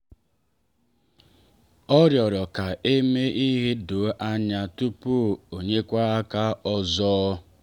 o rịọrọ ka e mee ihe doo anya tupu o nyekwa aka ọzọ